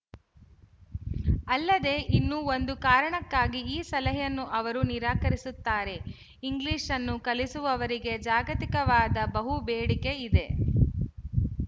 ಅಲ್ಲದೆ ಇನ್ನೂ ಒಂದು ಕಾರಣಕ್ಕಾಗಿ ಈ ಸಲಹೆಯನ್ನು ಅವರು ನಿರಾಕರಿಸುತ್ತಾರೆ ಇಂಗ್ಲಿಶ್‌ ಅನ್ನು ಕಲಿಸುವವರಿಗೆ ಜಾಗತಿಕವಾಗಿ ಬಹು ಬೇಡಿಕೆ ಇದೆ